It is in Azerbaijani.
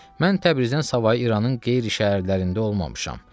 Mən Təbrizdən savayı İranın qeyri-şəhərlərində olmamışam.